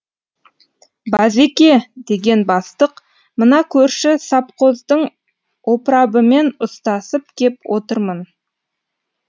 базеке деген бастық мына көрші сапқоздың опрабымен ұстасып кеп отырмын